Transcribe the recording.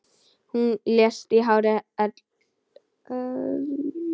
Hún lést í hárri elli.